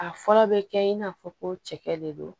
A fɔlɔ bɛ kɛ in n'a fɔ ko cɛkɛ de don